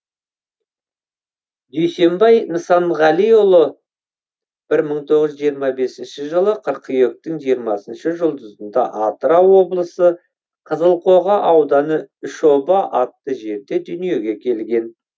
дүйсенбай нысанғалиұлы бір мың тоғыз жүз жиырма бесінші жылы қыркүйектің жиырмасыншы жұлдызында атырау облысы қызылқоға ауданы үш оба атты жерде дүниеге келген